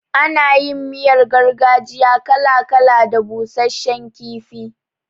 Ana yin miyar gargajiya kala kala da busashshen kifi.